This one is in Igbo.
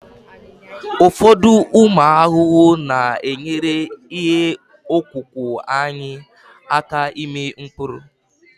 ụfọdụ ụmụ ahụhụ na-enyere ihe ọkụkụ anyị aka ịmị mkpụrụ